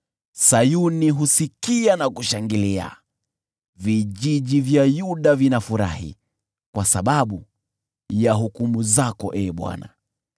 Sayuni husikia na kushangilia, vijiji vya Yuda vinafurahi kwa sababu ya hukumu zako, Ee Bwana .